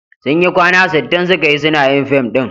Sun yi kwana sittin suka yi suna yin fim ɗin.